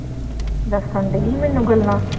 ਦੱਸਣ ਡੇਈ ਮੈਨੂੰ ਗੱਲਾਂ।